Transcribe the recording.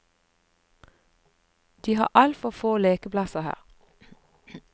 De har alt for få lekeplasser her.